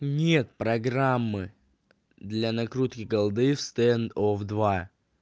нет программы для накрутки голды в стенд оф два